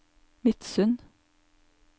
Midsund